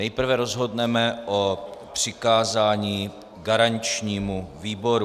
Nejprve rozhodneme o přikázání garančnímu výboru.